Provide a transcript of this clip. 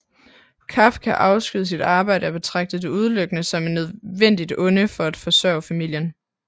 Kafka afskyede sit arbejde og betragtede det udelukkende som et nødvendigt onde for at forsørge familien